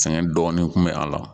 Sɛgɛn dɔɔnin kun bɛ a la